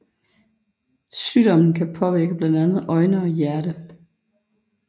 Sygdommen kan påvirke blandt andet øjne og hjerte